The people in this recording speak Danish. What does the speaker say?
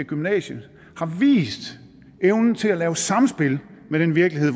gymnasiet har vist evnen til at indgå i samspil med den virkelighed